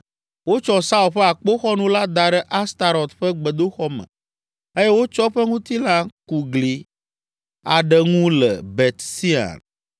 Wotsɔ Saul ƒe akpoxɔnu la da ɖe Astarɔt ƒe gbedoxɔ me eye wotsɔ eƒe ŋutilã ku gli aɖe ŋu le Bet Sean.